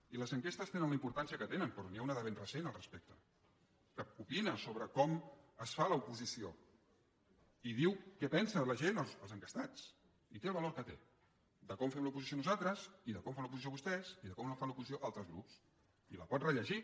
i les enquestes tenen la importància que tenen però n’hi ha una de ben recent al respecte que opina sobre com es fa l’oposició i diu què en pensa la gent els enquestats i té el valor que té de com fem l’oposició nosaltres i de com fan l’oposició vostès i de com fan l’oposició altres grups i la pot rellegir